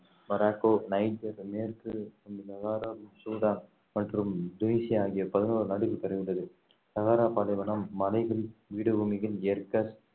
Morocco Niger மேற்கு Sahara Sudan மற்றும் Tunisia ஆகிய பதினோரு நாடுகளில் பரவியுள்ளது சகாரா பாலைவனம் மலைகள் பீடபூமிகள் ஏர்க்கஸ்